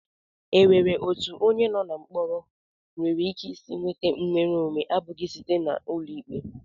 E nwere etu onye no na mkpọrọ nwereike isi nweta nnwereonwe abụghị nke sitere n'ụlọikpe?